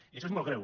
i això és molt greu